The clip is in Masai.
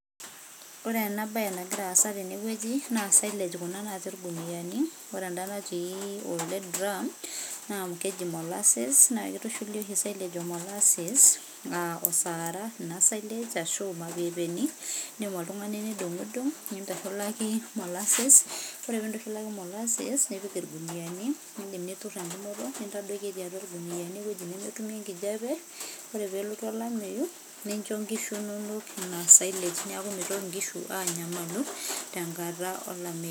ore ena bae nangira asa tene weuji na silage kuna nati ilkuniani, ore enda nati elde diram na keji molases na kitushuli oshi silage o malasese aa sarah ina silage, ashu ilmapepeni indim oltungani nidungudung nintushulaki molases, ore pintushulaki maleses nipik ilkuniani, indim nitur engumoto, nintadoiki eti atua ilkuniani eweuji nemetumie enkijape, ore pelotu olameyu nincho inkishu inono ina silage, niaku mitoki inkishu anyamalu tenkata olameyu.